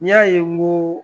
N y'a ye n ko